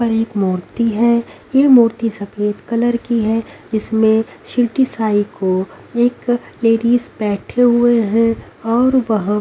पर एक मूर्ति है ये मूर्ति सफेद कलर की हैं जिसमें शिरडी साई को एक लेडीज बैठे हुए है और वहां--